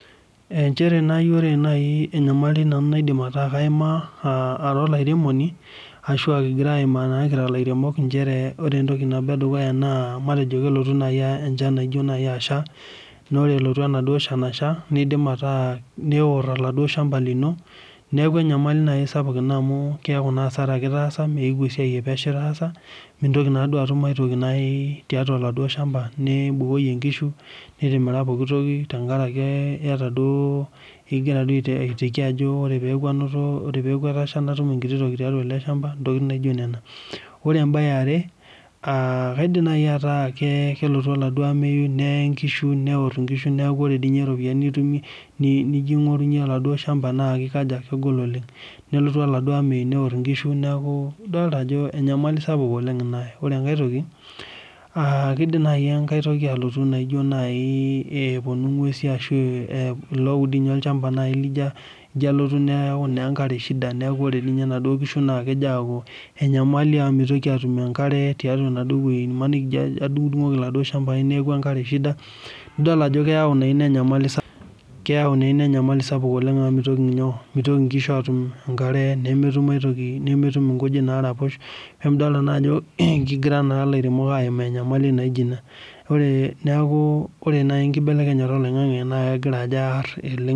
Ore naaji enyamali nayimaa Ara olairemoni ashu kigira ayimaa naa kira liaremok naa matejo kelotu najii enchan ashaa ore pelotu ashaa nidim atoroo oladuo shamba lino neeku enyamali sapuk ena amu kiaku asara etaasa esiai epesho etaasa nintoki atum are toki tiatua oladuo shamba nitimira nkishu tenkaraki egiraaiteki Ajo oree pee eku etasha natum enkiti toki tiatua ele shamba ntokitin naijio Nena ore ambe yare kaidim najii ataa kelotu elotu oladuo amei neor enkishu neeku ore ropiani nijo aing'orunye oladuo shamba naa kegol oleng nelotu olamei neor enaduo kishu neeku enyamali sapuk oleng ena ae ore enkai toki kidim naaji enkera toki ayeu naijio epuonu ng'uesi ashu etae olchamba lino alotu etaa enkare shida neeku ore naaduo kishu naa kejo aku enyamali amu mitoki atum enkare tiatua enaduo wueji emaniki ejo adumgudungoki eladuo shambai nekuu enkare shida naa keyau naa ena enyamali sapuk amu mitoki enkishu atum enkare netum enkujit naraposh lee midol naa Ajo kegira naa ealiremok ayimaa enyamali naijio ena neeku ore naaji enkibelenyata oloingange naa kegira Ajo arr